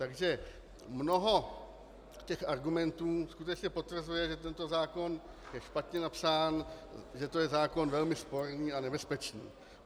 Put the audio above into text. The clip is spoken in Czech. Takže mnoho těch argumentů skutečně potvrzuje, že tento zákon je špatně napsán, že to je zákon velmi sporný a nebezpečný.